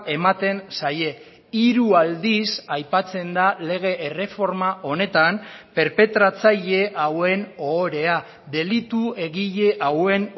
ematen zaie hiru aldiz aipatzen da lege erreforma honetan perpetratzaile hauen ohorea delitu egile hauen